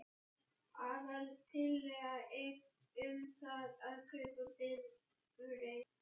Aðaltillaga er um það að kaupa bifreið.